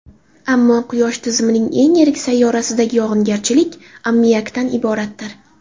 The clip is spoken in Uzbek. Ammo Quyosh tizimining eng yirik sayyorasidagi yog‘ingarchilik ammiakdan iboratdir.